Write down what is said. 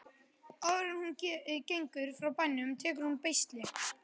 Áður en hún gengur frá bænum tekur hún beisli.